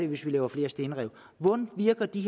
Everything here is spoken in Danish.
hvis vi laver flere stenrev hvordan virker de